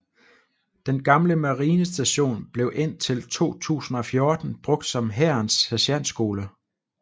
Den gamle marinestation blev indtil 2014 brugt som Hærens Sergentskole